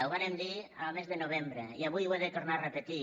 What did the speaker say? ho vàrem dir el mes de novembre i avui ho he de tornar a repetir